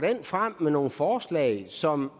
frem med nogle forslag som